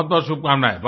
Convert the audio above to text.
बहुतबहुत शुभकामनाएँ